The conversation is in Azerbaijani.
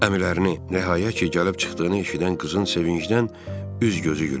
Əmilərini rəhaya ki, gəlib çıxdığını eşidən qızın sevincdən üz-gözü gülürdü.